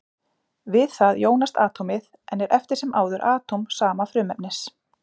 Við það jónast atómið, en er eftir sem áður atóm sama frumefnis.